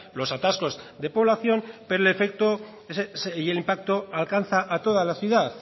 los atascos de población pero el efecto y el impacto alcanza a toda la ciudad